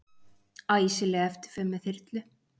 Æsileg eftirför með þyrlu